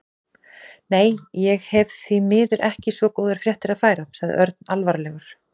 Nei, ég hef því miður ekki svo góðar fréttir að færa sagði Örn alvarlegur.